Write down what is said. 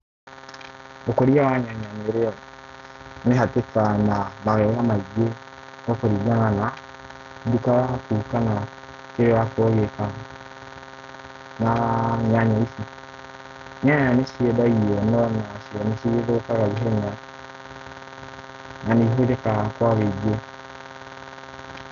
Ũkũria wa nyanya nĩ ũhatũkanaga na mawega maingĩ gwa kũringana na duka yaku kana kĩrĩa ũrakorwo ũgĩka na nyanya ici, nyanya nĩ ciendagio no nacio nĩ cigĩthũkaga ihenya na nĩ ihũthĩkaga kwa ũingĩ.